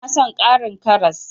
Ina son ƙarin karas.